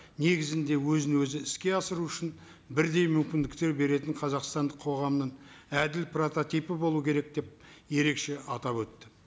негізінде өзін өзі іске асыру үшін бірдей мүмкіндіктер беретін қазақстандық қоғамның әділ прототипі болу керек деп ерекше атап өтті